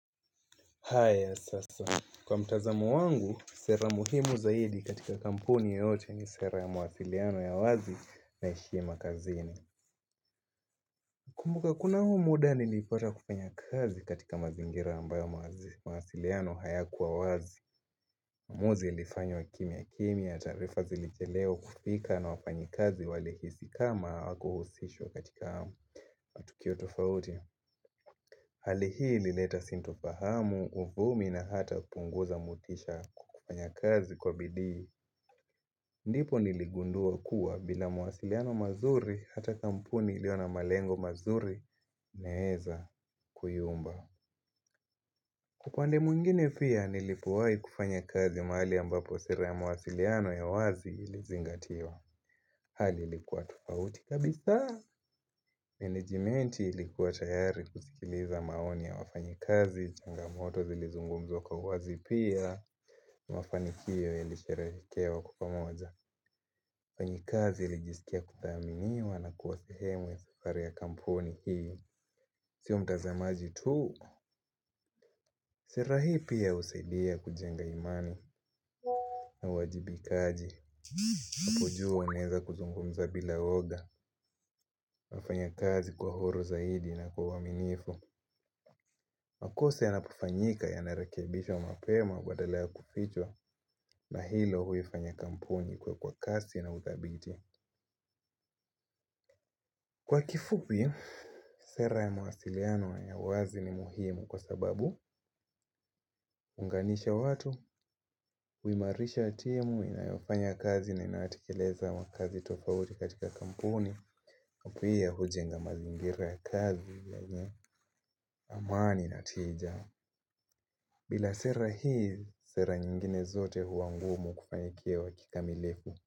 Haya sasa. Kwa mtazamo wangu, sera muhimu zaidi katika kampuni yote ni sera ya mawasiliano ya wazi na heshima kazini. Kumbuka kuna huo muda nilipata kufanya kazi katika mazingira ambayo mawasiliano hayakuwa wazi. Muzi ilifanywa kimia kimia, tarifa zilicheleo kufika na wafanyi kazi walihisi kama hawaku husishwa katika matukio tofauti. Hali hii ilileta sintofahamu uvumi na hata punguza mutisha kukufanya kazi kwa bidii. Ndipo niligundua kuwa bila mawasiliano mazuri hata kampuni ilio na malengo mazuri inaeza kuyumba. Upande mwingine pia nilipowai kufanya kazi mahali ambapo sera ya mawasiliano ya wazi ilizingatiwa. Hali ilikuwa tofauti kabisaa. Menejimenti ilikuwa tayari kusikiliza maoni ya wafanyikazi, changamoto zilizungumzwa kwa wazi pia. Mafanikio yalisherehekewa kwa pamoja. Wafanyikazi ilijisikia kuthaminiwa na kuwa sehemu ya safari ya kampuni hii. Sio mtazamaji tu. Sera hii pia husaidia kujenga imani. Na wajibikaji. Apujua uneza kuzungumza bila oga nafanya kazi kwa uhuru zaidi na kwa uaminifu. Makosa yanapofanyika yanarekebishwa mapema badala ya kufichwa. Na hilo huifanya kampuni ikue kwa kasi na udhabiti. Kwa kifupi, sera ya mawasiliano ya wazi ni muhimu. Kwa sababu, hunganisha watu. Uimarisha timu inayofanya kazi na inaatikeleza makazi tofauti katika kampuni pia hujenga mazingira ya kazi yenye amani na tija. Bila sera hii sera nyingine zote hua ngumu kufanikiwa kikamilifu.